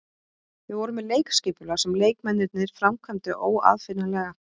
Við vorum með leikskipulag sem leikmennirnir framkvæmdu óaðfinnanlega.